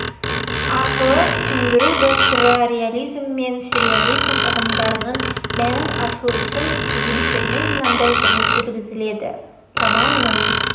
арқылы түсіндіру дәстүрлі реализм мен сюрреализм ұғымдарының мәнін ашу үшін студенттермен мынадай жұмыс жүргізіледі романның